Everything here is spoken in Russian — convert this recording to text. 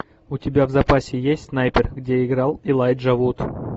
у тебя в запасе есть снайпер где играл элайджа вуд